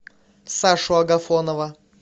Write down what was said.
сашу агафонова